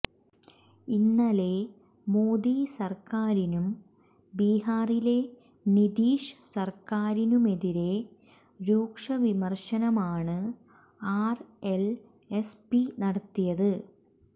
ഇന്നലെ മോദി സര്ക്കാരിനും ബിഹാറിലെ നിതീഷ് സര്ക്കാരിനുമെതിരെ രൂക്ഷവിമര്ശനമാണ് ആര് എല് എസ് പി നടത്തിയത്